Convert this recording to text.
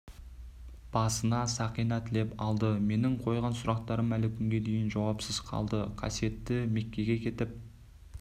басына сақина тілеп алды менің қойған сұрақтарым әлі күнге дейін жауапсыз қалды қасиетті меккеге кетіп